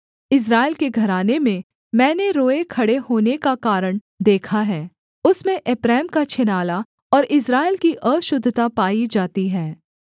इस्राएल के घराने में मैंने रोएँ खड़े होने का कारण देखा है उसमें एप्रैम का छिनाला और इस्राएल की अशुद्धता पाई जाती है